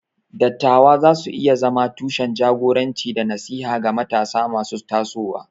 Dattawa za su iya zama tushen jagoranci da nasiha ga matasa masu tasowa.